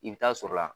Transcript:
I bɛ taa sɔrɔla la